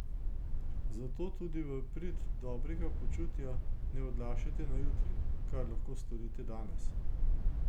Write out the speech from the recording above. Zato tudi v prid dobrega počutja ne odlašajte na jutri, kar lahko storite danes.